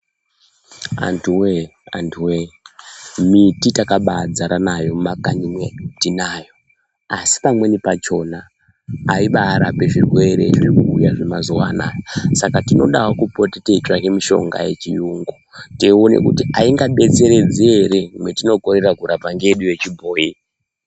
Antuwee antuwee miti takabadzara nayo mumakanyi mwedu tinayo asi pamweni pakhona aibarapi zvirwere zvirikuuya zvemazuvaa anaya saka tinodawo kupota teitsvaka mishonga yechiyungu teiona kuti aingadetseredzi ere mwatinokorera kurapa ngeyedu yechibhoyi.